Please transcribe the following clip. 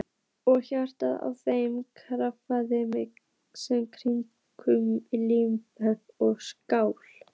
Og hjartað að þeim krafti sem kyndir líkama og sál?